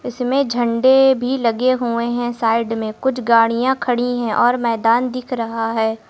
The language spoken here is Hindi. इसमें झंडे भी लगे हुए हैं साइड में कुछ गाड़ियां खड़ी हैं और मैदान दिख रहा है।